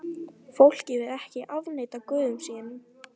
Fólkið vill ekki afneita guðum sínum.